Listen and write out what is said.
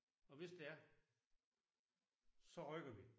Og hvis det er så rykker vi